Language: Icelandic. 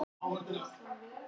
Lögðum við af stað.